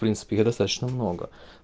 принципе их достаточно много